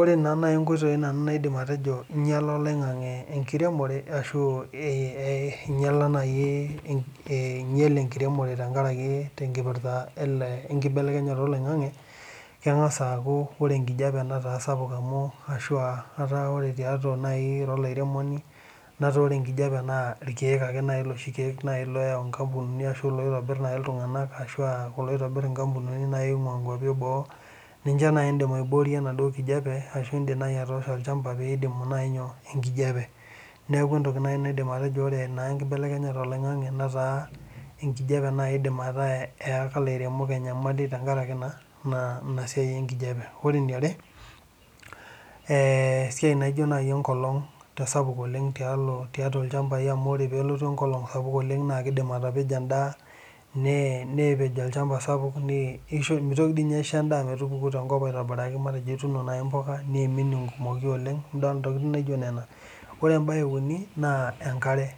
Oree naa nai inkoitoii nanu naidim atejo einyiala oloing'ang'e enkiremore ashuu einyiala naii ainyel enkiremore teenkaraki nenkipirta enkibelekenyata oloing'ang'e keng'asa aaaku ore enkijape nataa sapuk amuu ashuu ataa ore tiatua nayii olairemoni nataa ore enkijapee naa irkiyek nayii iloshi kiek nayii loyau inkampunini arashu ilaitobir iltung'anak arashu ilaitobir inkampunini oo nkwapi ee boo ninche naaji iidim aiboorie enaduo kijape ashuu iidim naaji atoosho olchapa pee iboyo inkijape nekuu entoki nayii naidim atejo oree naa enkibelekenyata oloing'ang'e netaa enkijape nayii iidim etaa eyaka iliremok enyamali tenkaraki naa ina siai enkijape ore eniare esiai naijo naji enkolong' kesapuk oleng' tiatua ilchapai amu oree peelotu enkolong' sapuk onleng' naa keidim atapejo endaa nepej olchapa sapuk meitoki tii nyee aishoo endaa metupuku tenkop aitobiraki matejo ituuno naji impuka neim enkumoyu oleng' idool intokitin naijo nena ore ebae ee uni naa enkare